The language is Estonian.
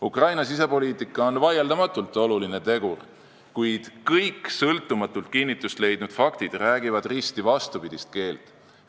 Ukraina sisepoliitika on vaieldamatult oluline tegur, kuid kõik sõltumatult kinnitust leidnud faktid räägivad risti vastupidist keelt.